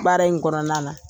Baara in kɔnɔna na.